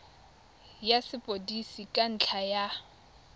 ya sepodisi ka ntlha ya